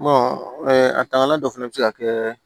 a tangalan dɔ fɛnɛ be se ka kɛ